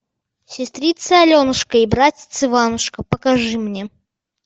сестрица аленушка и братец иванушка покажи мне